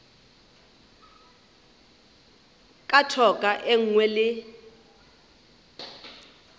ka thoko e nngwe le